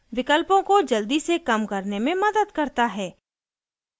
विकल्पों को जल्दी से कम करने में मदद करता है